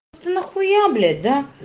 ты нахуя блять да